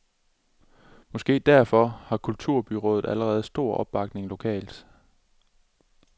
Måske derfor har kulturbyåret allerede stor opbakning lokalt.